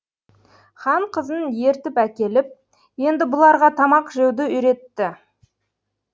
хан қызын ертіп әкеліп енді бұларға тамақ жеуді үйретті